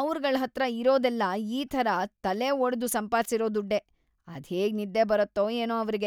ಅವ್ರ್‌ಗಳ್ಹತ್ರ ಇರೋದೆಲ್ಲ ಈ ಥರ ತಲೆಒಡ್ದು ಸಂಪಾದ್ಸಿರೋ ದುಡ್ಡೇ.. ಅದ್ಹೇಗ್‌ ನಿದ್ದೆ ಬರತ್ತೋ ಏನೋ ಅವ್ರಿಗೆ.